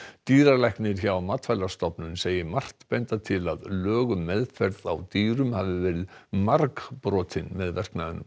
dýralæknir hjá Matvælastofnun segir margt benda til að lög um meðferð á dýrum hafi verið margbrotin með verknaðinum